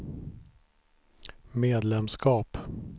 medlemskap